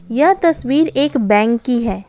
यह तस्वीर एक बैंक की है।